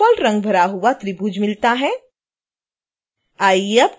हमें डिफ़ॉल्ट रंग भरा हुआ त्रिभुज मिलता है